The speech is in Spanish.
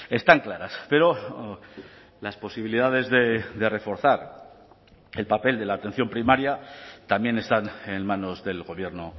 están claras pero las posibilidades de reforzar el papel de la atención primaria también están en manos del gobierno